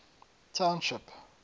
township